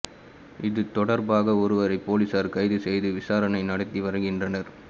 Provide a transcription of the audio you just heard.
இது தொடர்பாக ஒருவரை போலீசார் கைது செய்து விசாரணை நடத்தி வருகின்றனர்